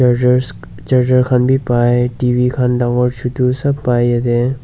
chargers charger khan bi bai T_V khan dangor chotu saab bai yete.